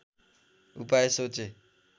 उपाय सोचे